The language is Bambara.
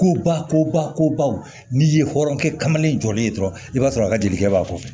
Ko ba ko ba ko baw n'i ye hɔrɔnkɛ kamanen jɔlen ye dɔrɔn i b'a sɔrɔ a ka dikɛ b'a fɔ